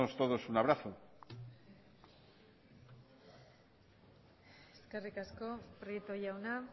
todos un abrazo eskerrik asko prieto jauna